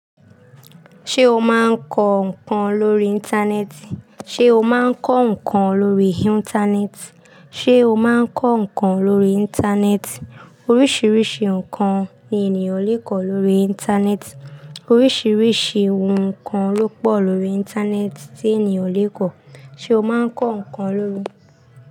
Ṣé o máa ń kọ ǹkan lórí Íńtánẹ́ẹ̀tì? Oríṣìíríṣìí ǹkan ni ènìyàn lè kọ lórí Íńtánẹ́ẹ̀tì. Oríṣìíríṣìí ohun ǹkan ló pọ̀ lórí Íńtánẹ́ẹ̀tì tí ènìyàn lè kọ̀. Ṣé o máa ń kọ ǹkan ló.